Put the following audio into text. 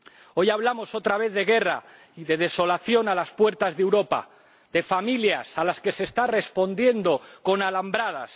Hoy hablamos, otra vez, de guerra y de desolación a las puertas de Europa, de familias a las que se está respondiendo con alambradas.